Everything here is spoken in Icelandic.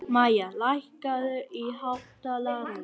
Mæja, lækkaðu í hátalaranum.